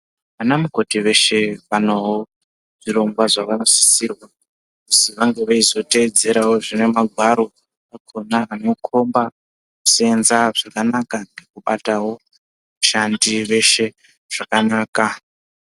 Vana mukoti veshe panoo zvirongwa zvavanosisirwa kuzi vange veizoteedzera zvine magwaro akhona anokhomba kuseenza zvakanaka nekubatawo vashandi vese zvakanaka.